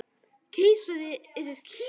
Keisari yfir Kína